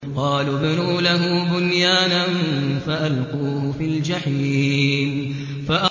قَالُوا ابْنُوا لَهُ بُنْيَانًا فَأَلْقُوهُ فِي الْجَحِيمِ